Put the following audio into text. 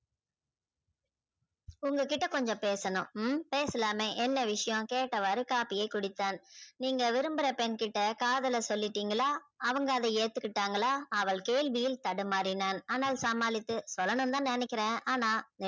உங்க கிட்ட கொஞ்சம் பேசணும் ம் பேசலாமே என்ன விஷயம் என்று கேட்டவாரே காப்பியை குடித்தான நீங்க விரும்புற பெண் கிட்ட காதலை சொல்லிடிங்களா அவங்க அதா ஏத்து கிட்டாங்களா அவள் கேள்வியில் தடுமாறினான் ஆனால் சமாளித்து சொல்லனும்னு தா நினைக்கிற ஆனா